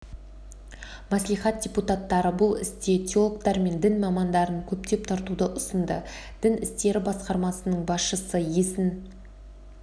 мәслихат депутаттары бұл істе теологтар мен дін мамандарын көптеп тартуды ұсынды дін істері басқармасының басшысы есін